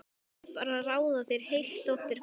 Ég vil bara ráða þér heilt, dóttir góð.